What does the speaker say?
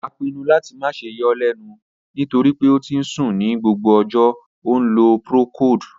A pinnu lati ma ṣe yọ ọ lẹnu nitori pe o ti n sun ni gbogbo ọjọ, o nlo procold.